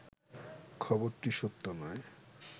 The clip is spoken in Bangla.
খবরটি সত্য নয়